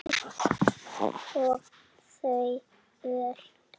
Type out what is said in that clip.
Og þau öll.